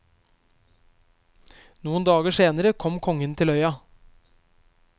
Noen dager senere kom kongen til øya.